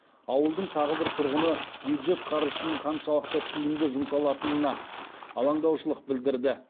ауылдың тағы бір тұрғыны бюджет қаржысының қаншалықты тиімді жұмсалатынына алаңдаушылық білдірді